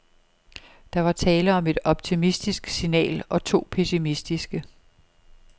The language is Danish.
Der var tale om et optimistisk signal og to pessimistiske.